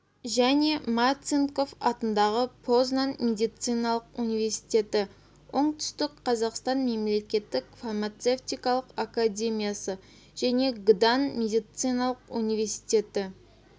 және марцинков атындағы познан медициналық университеті оңтүстік қазақстан мемлекеттік фармацевтикалық академиясы және гдан медициналық университеті